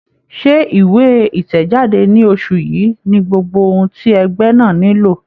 Ṣé ìwé ìtẹ̀jáde ti oṣù yìí ni gbogbo ohun ti ẹgbẹ́ náà nílò?